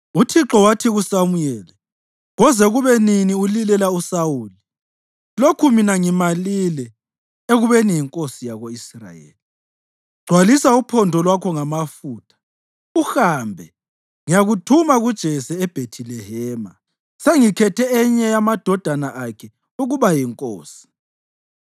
Uthixo wathi kuSamuyeli, “Koze kube nini ulilela uSawuli, lokhu mina ngimalile ekubeni yinkosi yako-Israyeli? Gcwalisa uphondo lwakho ngamafutha uhambe; ngiyakuthuma kuJese eBhethilehema. Sengikhethe enye yamadodana akhe ukuba yinkosi.”